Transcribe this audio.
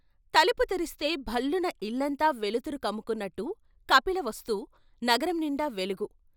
తలుపు తెరిస్తే భళ్ళున ఇల్లంతా వెలుతురు కమ్ముకున్నట్టు కపిలవస్తు నగరం నిండా వెలుగు.